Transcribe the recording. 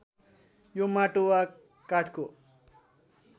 यो माटो वा काठको